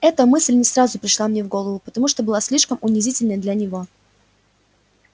эта мысль не сразу пришла мне в голову потому что была слишком унизительной для него